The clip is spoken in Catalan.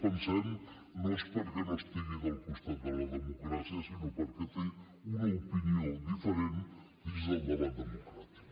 sem no és perquè no estigui del costat de la democràcia sinó perquè té una opinió diferent dins del debat democràtic